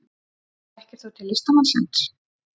Þekkir þú til listamannsins?